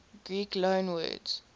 greek loanwords